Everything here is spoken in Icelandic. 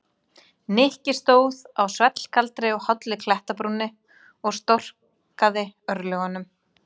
Nikki stóð á svellkaldri og hálli klettabrúninni og storkaði örlögunum.